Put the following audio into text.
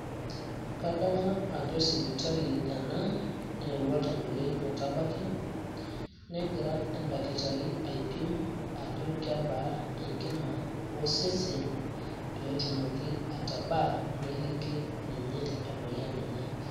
Kadamu ajo sipitali ena, neewuo oltamoyiai metabaki. Negira edakitarii aipim ajo kebaa enkima osesen lenye peetumoki atabaa neliki ninye emoyian enye.